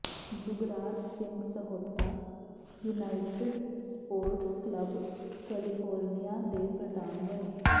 Jugraj Singh Sahota united sports club California ਦੇ ਪ੍ਰਧਾਨ ਬਣੇ